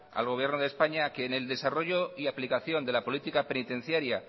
al gobierno de españa a que en el desarrollo y aplicación de la política penitenciaria